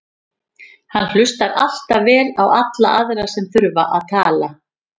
Hann hlustar alltaf vel á alla aðra sem þurfa að tala.